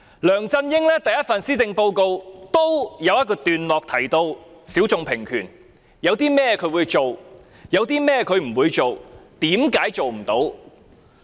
梁振英在其第一份施政報告的一個段落中，提到性小眾平權，講述他會做甚麼，不做甚麼，為甚麼做不到。